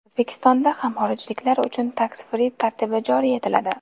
O‘zbekistonda ham xorijliklar uchun Tax free tartibi joriy etiladi.